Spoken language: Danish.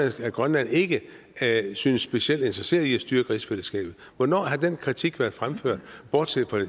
af at grønland ikke synes specielt interesseret i at styrke rigsfællesskabet hvornår har den kritik været fremført bortset fra